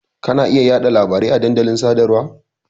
Ka na iya yaɗa labari a dandalin sadarwa.